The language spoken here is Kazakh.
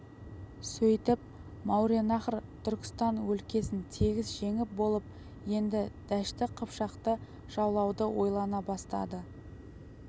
сөйтіп мауреннахр түркістан өлкесін тегіс жеңіп болып енді дәшті қыпшақты жаулауды ойлана бастады